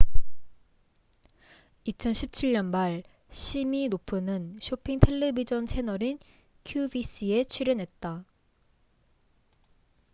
2017년 말 시미노프는 쇼핑 텔레비젼 채널인 qvc에 출연했다